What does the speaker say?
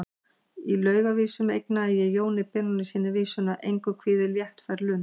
Í Lausavísum eignaði ég Jóni Benónýssyni vísuna: Engu kvíðir léttfær lund.